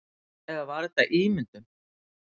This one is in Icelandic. Eða var þetta ímyndun?